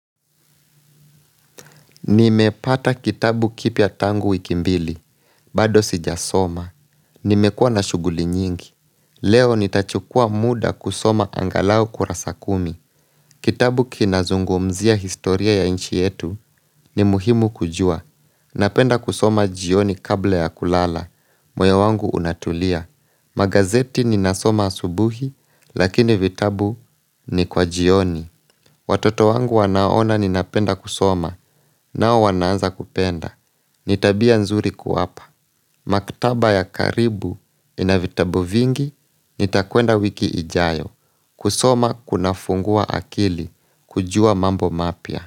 Nimepata kitabu kipya tangu wikimbili, bado sijasoma. Nimekua na shuguli nyingi. Leo nitachukua muda kusoma angalau kurasakumi. Kitabu kinazungumzia historia ya inchi yetu ni muhimu kujua. Napenda kusoma jioni kabla ya kulala. Moyo wangu unatulia. Magazeti ni nasoma asubuhi, lakini vitabu ni kwa jioni. Watoto wangu wanaona ninapenda kusoma nao wanaanza kupenda. Nitabia nzuri kuwapa. Maktaba ya karibu inavitabu vingi nitakwenda wiki ijayo kusoma kuna funguwa akili kujua mambo mapya.